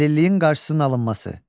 Əlilliyin qarşısının alınması.